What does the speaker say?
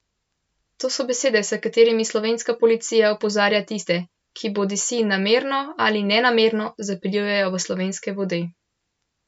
To so besede, s katerimi slovenska policija opozarja tiste, ki bodisi namerno ali nenamerno zaplujejo v slovenske vode.